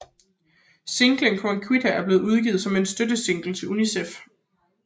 Singlen Chiquitita blev udgivet som en støttesingle til UNICEF